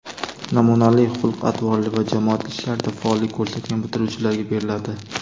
namunali xulq-atvorli va jamoat ishlarida faollik ko‘rsatgan bitiruvchilarga beriladi.